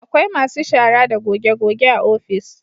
Akwai masu shara da goge goge a ofis